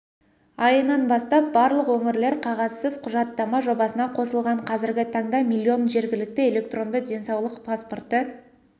айынан бастап барлық өңірлер қағазсыз құжаттама жобасына қосылған қазіргі таңда миллион жергілікті электронды денсаулық паспорты